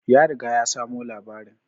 Ya riga ya samo labarin